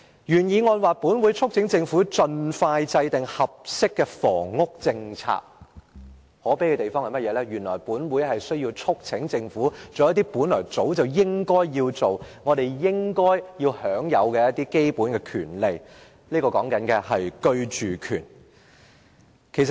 原議案提到"本會促請政府盡快制訂合適的房屋政策"；可悲的是，原來本會需要促請政府做一些早應該要做的事情，居住權也是我們應該享有的基本權利。